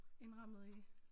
Indrammet i